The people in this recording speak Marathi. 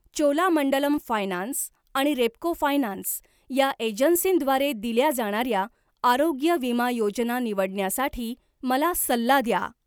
चोलामंडलम फायनान्स आणि रेपको फायनान्स या एजन्सींद्वारे दिल्या जाणाऱ्या आरोग्य विमा योजना निवडण्यासाठी मला सल्ला द्या.